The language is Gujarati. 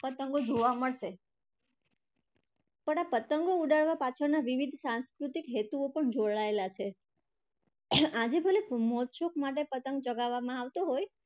પતંગો જોવા મળશે. પણ આ પતંગો ઉડાડવા પાછળના વિવિધ સાંસ્કૃતિક હેતુઓ પણ જોડાયેલા છે. આજે ભલે મોજ શોખ માટે પતંગ ચગાવવામાં આવતો હોય